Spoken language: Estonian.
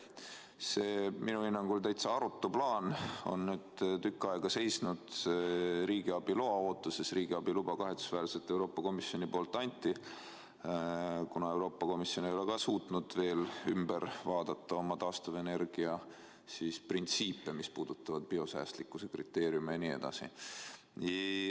See minu hinnangul täitsa arutu plaan on nüüd tükk aega seisnud riigiabi loa ootuses, ja riigiabi luba kahetsusväärselt Euroopa Komisjonist anti, kuna Euroopa Komisjon ei ole suutnud veel muuta oma taastuvenergiat puudutavaid printsiipe, mis puudutavad biosäästlikkuse kriteeriume jne.